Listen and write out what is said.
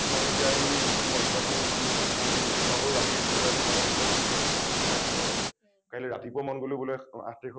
মই এতিয়া আহি মই paper খন কি আছে বুলি কলে চাব পাৰোঁ , ৰাতি কোনোবা এজন মানুহ আহি paper চাওঁ বুলি কলে চাব পাৰে । কাইলে ৰাতিপুৱা মন গল বোলে আঠ তাৰিখৰ